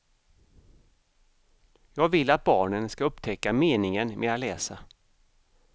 Jag vill att barnen ska upptäcka meningen med att läsa.